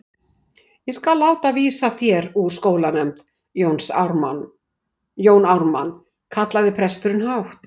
Ég skal láta vísa þér úr sóknarnefnd Jón Ármann, kallaði presturinn hátt.